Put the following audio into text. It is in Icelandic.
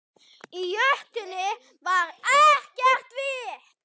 Í jötunni var ekkert vit.